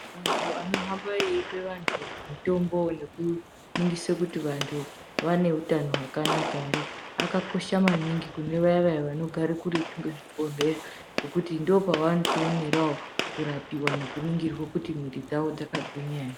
Antu anohamba veipa vantu mitombo nekuningisa kuti vantu vaneutano hwakanaka ere akakosha maningi kune vaya vaya vanogara kuretu ngezvi bhohleya ngekuti ndokwano rapiwa vechiningirwa kuti muviri dzawo dzakangwinya ere